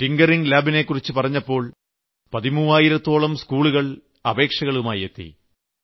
tinkering Labനെ കുറിച്ച് പറഞ്ഞപ്പോൾ പതിമൂവായിരത്തോളം സ്കൂളുകൾ അപേക്ഷകളുമായി എത്തി